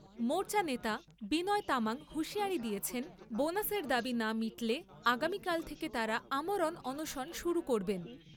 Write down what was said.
মোর্চা নেতা বিনয় তামাং হুঁশিয়ারি দিয়েছেন, বোনাসের দাবী না মিটলে আগামীকাল থেকে তাঁরা আমরণ অনশন শুরু করবেন।